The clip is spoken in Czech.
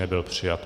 Nebyl přijat.